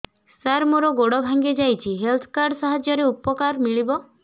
ସାର ମୋର ଗୋଡ଼ ଭାଙ୍ଗି ଯାଇଛି ହେଲ୍ଥ କାର୍ଡ ସାହାଯ୍ୟରେ ଉପକାର ମିଳିବ